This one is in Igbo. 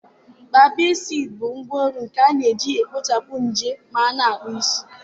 Babisaịd bụ ngwaọrụ nke a na-eji egbochi nje ma a na-akpụ isi.